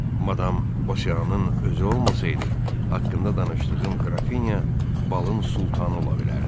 Madam Bosyanın özü olmasaydı, haqqında danışdığım qrafinya balın sultanı ola bilərdi.